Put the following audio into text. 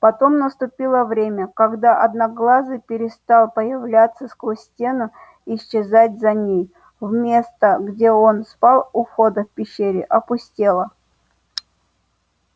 потом наступило время когда одноглазый перестал появляться сквозь стену и исчезать за ней место где он спал у входа в пещере опустело